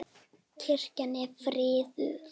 Kirkjan er friðuð.